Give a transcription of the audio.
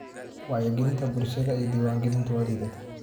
Wacyigelinta bulshada ee diwaangelintu waa liidata.